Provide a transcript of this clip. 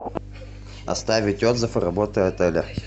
оставить отзыв о работе отеля